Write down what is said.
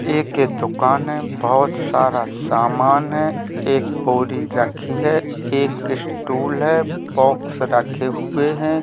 एक दुकान है बहुत सारा सामान है एक बोरी रखी है एक स्टूल है बॉक्स रखे हुए हैं।